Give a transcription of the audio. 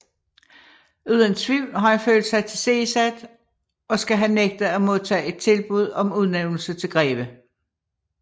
Uden tvivl har han følt sig tilsidesat og skal have nægtet at modtage et tilbud om udnævnelse til greve